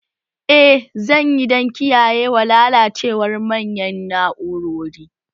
Eh zan yi dan kiyayewa lalacewar manyan na'urori